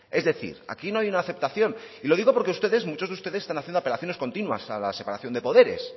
es decir aquí no hay una aceptación lo digo porque ustedes muchos de ustedes están haciendo apelaciones continuas a la separación de poderes